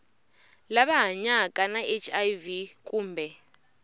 lava hanyaka na hiv kumbe